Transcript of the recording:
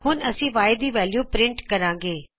ਹੁਣ ਅਸੀ Y ਦੀ ਵੈਲਯੂ ਪਰਿੰਟ ਕਰਾਗੇ